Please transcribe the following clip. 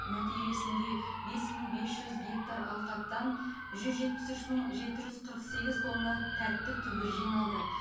нәтижесінде бес мың бепс жүз гектар алқаптан жүз жетпіс үш мың жеті жүз қырық сегіз тонна тәтті түбір жиналды